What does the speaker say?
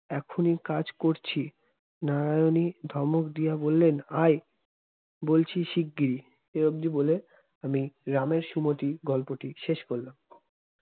এখনই কাজ করছি নারায়ণী ধমক দিয়া বললেন আয় বলছি শিগগিরই বলে আমি রামের সুমতি গল্পটি শেষ করলাম।